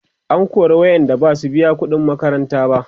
an kora waƴanda Basu biya ƙuɗin makaranta ba